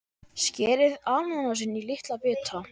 Skerið ananas í litla bita.